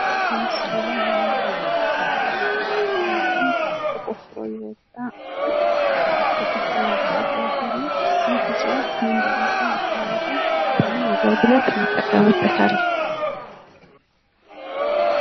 በምስሉ ላይ የምንመለከተው አረንገጓዴ ቅጠል እንዲሁም ተቆፍሮ የወጣ እፅዋት አለ ይህ እፅዋት ምን በመባል ይታወቃል? ለምን አገልግሎት እንጠቀምበታለን?